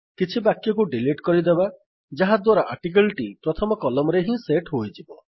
କିଛି ବାକ୍ୟକୁ ଡିଲିଟ୍ କରିଦେବା ଯାହାଦ୍ୱାରା ଆର୍ଟିକିଲ୍ ଟି ପ୍ରଥମ କଲମରେ ହିଁ ସେଟ୍ ହୋଇଯିବ